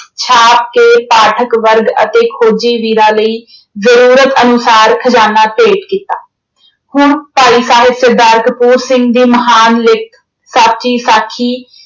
ਛਾਪ ਕੇ ਪਾਠਕ ਵਰਗ ਅਤੇ ਖੋਜੀ ਵੀਰਾਂ ਲਈ ਜ਼ਰੂਰਤ ਅਨੁਸਾਰ ਖਜ਼ਾਨਾ ਭੇਂਟ ਕੀਤਾ। ਹੁਣ ਭਾਈ ਸਾਹਿਬ ਸਰਦਾਰ ਕਪੂਰ ਸਿੰਘ ਦੀ ਮਹਾਨ ਲਿਖਤ ਸਾਚੀ ਸਾਖੀ